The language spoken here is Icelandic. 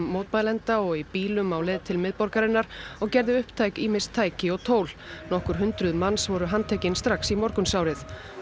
mótmælenda og í bílum á leið til miðborgarinnar og gerði upptæk ýmis tæki og tól nokkur hundruð manns voru handtekin strax í morgunsárið